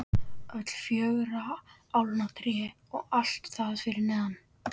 Öll fjögurra álna tré og allt þar fyrir neðan.